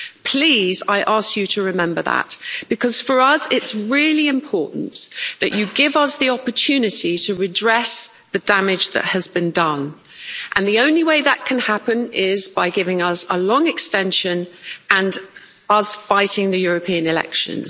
Please, I ask you to remember that because for us it's really important that you give us the opportunity to redress the damage that has been done, and the only way that can happen is by giving us a long extension and us fighting the European elections.